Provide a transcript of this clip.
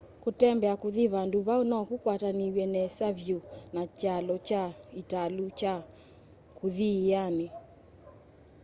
kũtembea kuthi vandu vau nokũkwatanĩw'e nesa vyũ na kyalo kya ĩtalũ kya kũthi ĩianĩ